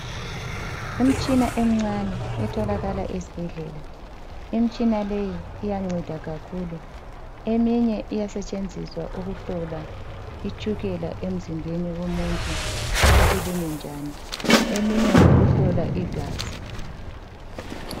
Imitshina emincane etholakala esibhedlela. Imitshina le iyanceda kakhulu. Eminye iyasetshenziswa ukuhlola itshukela emizimbeni yomuntu ukuthi limi njani, eminye ngeyokuhlola igazi.